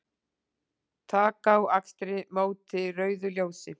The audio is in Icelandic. Taka á akstri móti rauðu ljósi